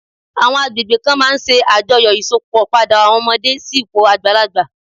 Àwọn agbègbè kan máà ń ṣe àjọyọ̀ Ìsópọ̀ padà àwọn ọmọdé sí ipò àgbàlagbà